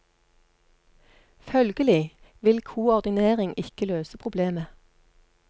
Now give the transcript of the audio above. Følgelig vil koordinering ikke løse problemet.